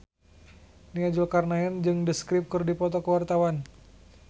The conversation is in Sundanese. Nia Zulkarnaen jeung The Script keur dipoto ku wartawan